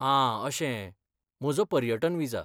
आं अशें, म्हजो पर्यटन विजा.